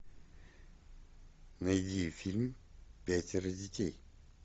найди фильм пятеро детей